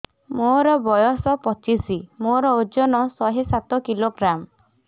ମୋର ବୟସ ପଚିଶି ମୋର ଓଜନ ଶହେ ସାତ କିଲୋଗ୍ରାମ